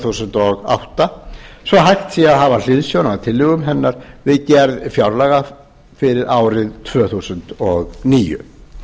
þúsund og átta svo að hægt sé að hafa hliðsjón af tillögum hennar við gerð fjárlagafrumvarps fyrir árið tvö þúsund og níu